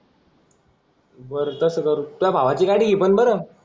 बर तस करू तुझ्या भावाची गाडी घे पण बरं.